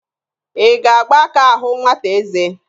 Ị ga-agba aka ahụ nwata eze?